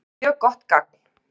Mjög gott gagn